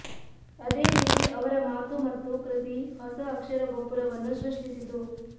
ಅದೇ ರೀತಿ ಅವರ ಮಾತು ಮತ್ತು ಕೃತಿ ಹೊಸ ಅಕ್ಷರ ಗೋಪುರವನ್ನು ಸೃಷ್ಟಿಸಿತು